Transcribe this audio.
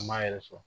An m'a yɛrɛ sɔrɔ